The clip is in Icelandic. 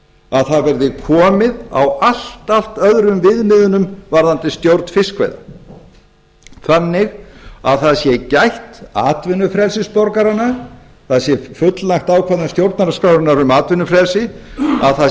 að það verði komið á allt allt öðrum viðmiðunum varðandi stjórn fiskveiða þannig að það sé gætt atvinnufrelsis borgaranna það sé fullnægt ákvæðum stjórnarskrárinnar um atvinnufrelsi að það